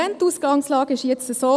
Die Ausgangslage ist jetzt so: